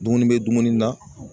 Dumuni bɛ dumuni na.